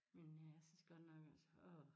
Men øh jeg synes godt nok også åh